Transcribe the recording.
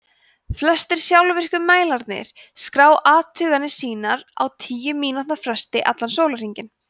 flestir sjálfvirku mælarnir skrá athuganir sínar á tíu mínútna fresti allan sólarhringinn